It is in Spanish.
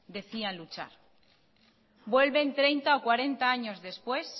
decían luchar vuelven treinta o cuarenta años después